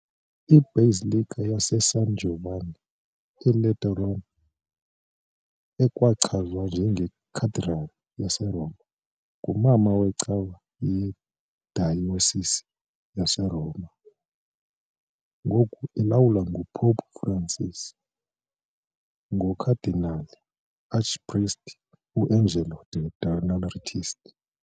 I-Basilica yaseSan Giovanni eLaterano, ekwachazwa njengeCathedral yaseRoma, ngumama wecawa yedayosisi yaseRoma, ngoku elawulwa nguPope Francis ngoKhadinali uArchpriest uAngelo De Donatis .